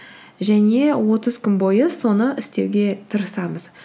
және отыз күн бойы соны істеуге тырысамыз